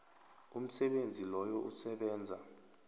umsebenzi loyo usebenza